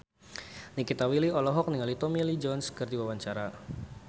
Nikita Willy olohok ningali Tommy Lee Jones keur diwawancara